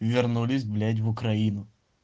вернулись блять в украину